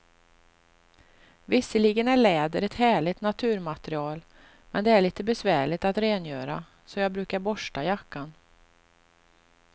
Visserligen är läder ett härligt naturmaterial, men det är lite besvärligt att rengöra, så jag brukar borsta jackan.